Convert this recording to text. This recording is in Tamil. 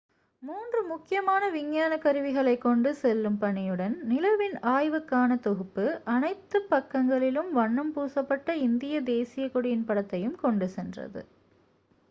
மூன்று முக்கியமான விஞ்ஞான கருவிகளைக் கொண்டு செல்லும் பணியுடன் நிலவின் ஆய்வுக்கான தொகுப்பு அனைத்து பக்கங்களிலும் வண்ணம் பூசப்பட்ட இந்தியத் தேசியக் கொடியின் படத்தையும் கொண்டுசென்றது